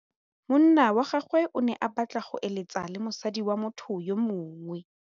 Monna wa gagwe o ne a batla go êlêtsa le mosadi wa motho yo mongwe.